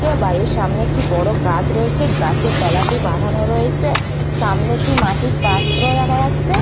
কাছে বাড়ির সামনে একটি বড় গাছ রয়েছে গাছের তলাটি বাঁধানো রয়েছে সামনে একটি মাটির পাত্র দেখা যাচ্ছে।